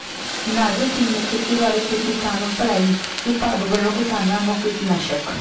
ਨਾਜ਼ਰ ਸਿੰਘ ਨੇ ਖੇਤੀਬਾੜੀ ਤੇ ਕਿਸਾਨ ਭਲਾਈ ਵਿਭਾਗ ਵੱਲੋਂ ਕਿਸਾਨਾਂ ਨੂੰ ਕੀਟਨਾਸ਼ਕ